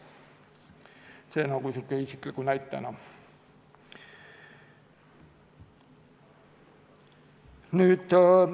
See oli selline isiklik näide.